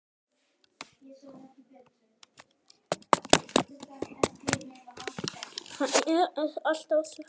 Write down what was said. Hann ákveður að svara ekki.